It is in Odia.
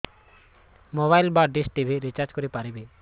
ମୋବାଇଲ୍ ବା ଡିସ୍ ଟିଭି ରିଚାର୍ଜ କରି ପାରିବି